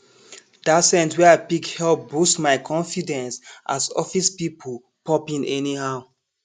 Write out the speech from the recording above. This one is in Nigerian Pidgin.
that scent wey i pick help boost my confidence as office people pop in anyhow